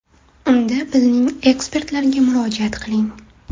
Unda bizning ekspertlarga murojaat qiling!.